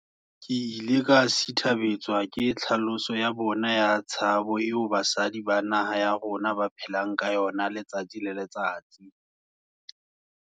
Ke ile ka sithabetswa ke tlhaloso ya bona ya tshabo eo basadi ba naha ya rona ba phelang ka yona letsatsi le letsatsi.